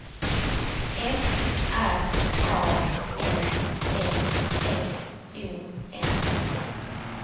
F R A N S S O N